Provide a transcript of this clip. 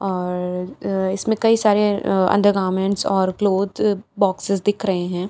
और इसमें कई सारे अंडरगारमेंट्स और क्लॉथ बॉक्सेस दिख रहे हैं।